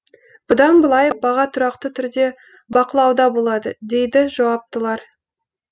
бұдан былай баға тұрақты түрде бақылауда болады дейді жауаптылар